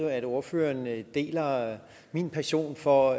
jo at ordføreren deler min passion for